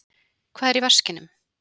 Hvað er í vaskinum?